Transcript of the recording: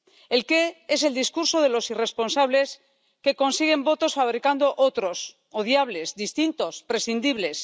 El qué es el discurso de los irresponsables que consiguen votos fabricando otros, odiables, distintos, prescindibles.